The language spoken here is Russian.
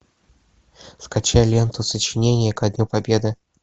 скачай ленту сочинение ко дню победы